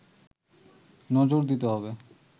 নজর দিতে হবে